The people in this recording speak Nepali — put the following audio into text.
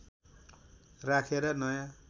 राखेर नयाँ